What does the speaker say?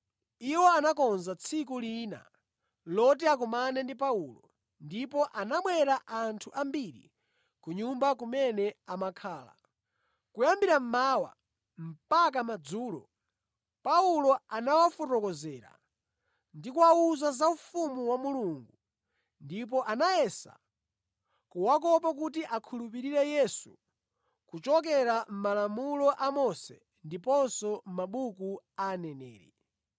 Iwo anakonza tsiku lina loti akumane ndi Paulo, ndipo anabwera anthu ambiri ku nyumba kumene amakhala. Kuyambira mmawa mpaka madzulo, Paulo anawafotokozera ndi kuwawuza za ufumu wa Mulungu ndipo anayesa kuwakopa kuti akhulupirire Yesu kuchokera mʼMalamulo a Mose ndiponso mʼmabuku a Aneneri.